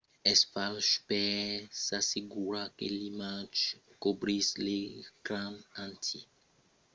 es fach per s’assegurar que l’imatge cobrís l'ecran entièr. se ditz subrescanerizar